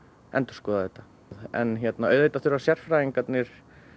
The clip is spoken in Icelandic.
endurskoða þetta en auðvitað þurfa sérfræðingarnir